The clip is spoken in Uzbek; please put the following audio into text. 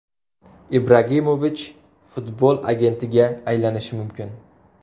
Ibragimovich futbol agentiga aylanishi mumkin.